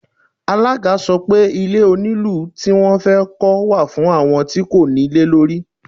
Alága sọ pé Ilé onílùú tí wón fẹ́ kọ́ wà fún àwọn tí kò ní ilé lórí.